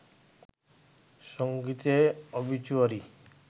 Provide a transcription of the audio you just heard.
সংগীতে অবিচুয়ারি